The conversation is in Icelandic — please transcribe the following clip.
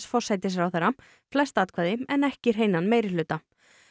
forsætisráðherra flest atkvæði en ekki hreinan meirihluta